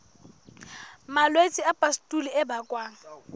malwetse a pustule a bakwang